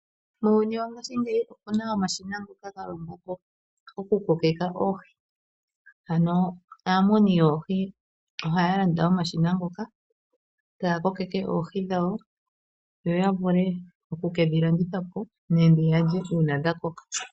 Muuyuni wongashingeyi oku na omashina ngoka ga longwa po okukokitha oohi. Aamuni yoohi ohaya landa omashina ngoka, taya kokeke oohi dhawo yo ya vule oku ke dhi landithe po nenge ya lye uuna dha koka.